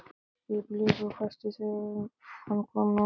Ég blés og hvæsti þegar hann kom nálægt mér.